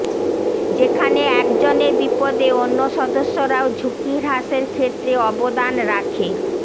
যেখানে একজনের বিপদে অন্য সদস্যরাও ঝুঁকি হ্রাসের ক্ষেত্রে অবদান রাখে